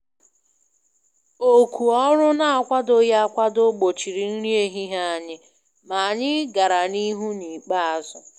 Òkù ọrụ n'akwadoghị akwado gbochiri nri ehihie anyị, ma anyị gàrà n' ihu n' ikpeazụ.